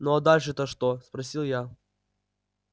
ну а дальше то что спросил я